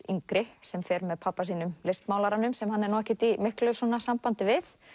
yngri sem fer með pabba sínum listmálaranum sem hann er nú ekkert í miklu sambandi við